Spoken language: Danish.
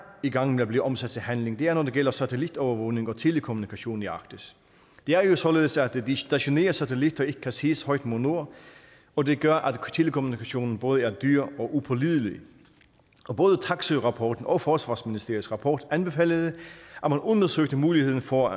i gang med at blive omsat til handling er når det gælder satellitovervågning og telekommunikation i arktis det er jo således at de stationære satellitter ikke kan ses højt mod nord og det gør at telekommunikationen både er dyr og upålidelig både taksøe jensen rapporten og forsvarsministeriets rapport anbefalede at man undersøgte muligheden for